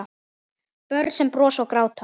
Börn sem brosa og gráta.